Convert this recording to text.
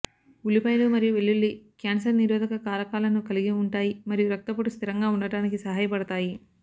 ఉల్లిపాయలు మరియు వెల్లుల్లి క్యాన్సర్ నిరోధక కారకాలను కలిగి ఉంటాయి మరియు రక్తపోటు స్థిరంగా ఉండటానికి సహాయపడతాయి